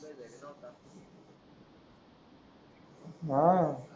आह